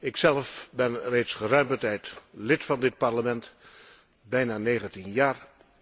Ikzelf ben reeds geruime tijd lid van dit Parlement, bijna negentien jaar.